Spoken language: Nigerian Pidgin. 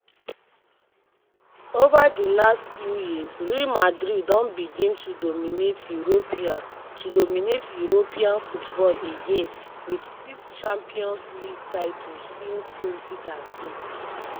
ova di last few years real madrid don begin to dominate european to dominate european football again wit 6 champions league titles since 2013.